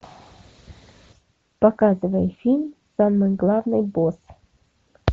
показывай фильм самый главный босс